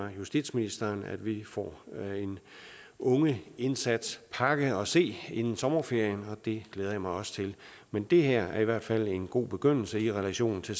at justitsministeren har meddelt at vi får en ungeindsatspakke at se inden sommerferien og det glæder jeg mig også til men det her er i hvert fald en god begyndelse i relation til